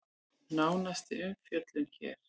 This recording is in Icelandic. Nánari umfjöllun hér